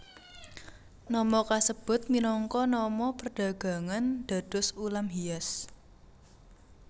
Nama kasebut minangka nama perdagangan dados ulam hias